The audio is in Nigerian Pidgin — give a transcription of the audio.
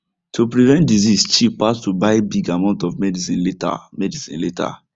to prevent disease cheap pass to buy big amounts of medicine later medicine later